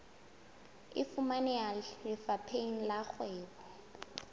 e fumaneha lefapheng la kgwebo